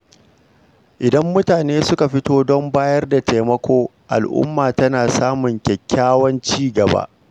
Idan mutane suka fito don bayar da taimako, al’umma tana samun kyakkyawan ci gaba.